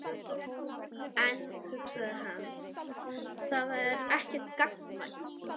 En, hugsaði hann, það er ekki gagnkvæmt.